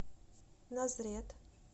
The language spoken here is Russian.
назрет